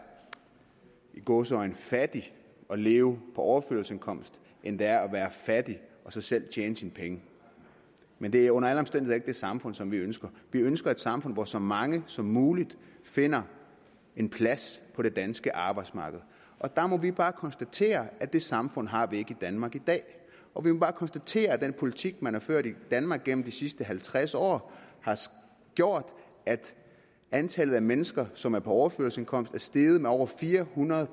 i gåseøjne fattig og leve på overførselsindkomst end det er at være fattig og så selv tjene sine penge men det er under alle omstændigheder det samfund som vi ønsker vi ønsker et samfund hvor så mange som muligt finder en plads på det danske arbejdsmarked der må vi bare konstatere at det samfund har vi ikke i danmark i dag og vi må bare konstatere at den politik man har ført i danmark gennem de sidste halvtreds år har gjort at antallet af mennesker som er på overførselsindkomst er steget med over fire hundrede